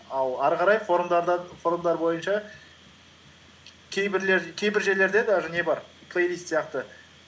ал ары қарай форумдар бойынша кейбір жерлерде даже не бар плейлист сияқты